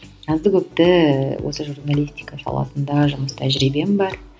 азды көпті осы журналистика саласында жұмыс тәжірибем бар